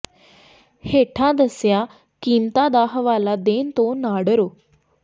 ਹੇਠਾਂ ਦੱਸੀਆਂ ਕੀਮਤਾਂ ਦਾ ਹਵਾਲਾ ਦੇਣ ਤੋਂ ਨਾ ਡਰੋ